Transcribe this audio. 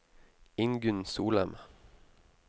Ingunn Solem